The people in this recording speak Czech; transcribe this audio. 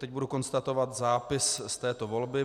Teď budu konstatovat zápis z této volby.